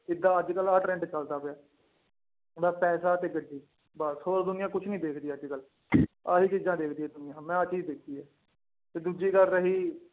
ਏਦਾਂ ਅੱਜ ਕੱਲ੍ਹ ਆਹ trend ਚੱਲਦਾ ਪਿਆ ਬਸ ਪੈਸਾ ਤੇ ਗੱਡੀ ਬਸ ਹੋਰ ਦੁਨੀਆਂ ਕੁਛ ਨੀ ਦੇਖਦੀ ਅੱਜ ਕੱਲ੍ਹ ਆਹੀ ਚੀਜ਼ਾਂ ਦੇਖਦੀ ਹੈ ਦੁਨੀਆਂ ਮੈਂ ਆਹ ਚੀਜ਼ ਦੇਖੀ ਹੈ ਤੇ ਦੂਜੀ ਗੱਲ ਰਹੀ।